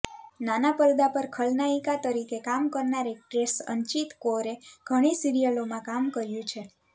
નાના પરદા પર ખલનાઇકા તરીકે કામ કરનાર એક્ટ્રેસ અંચિત કૌરે ઘણી સિરિયલોમાં કામ કર્યું છે